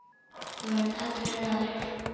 Þú munt aldrei ná þér.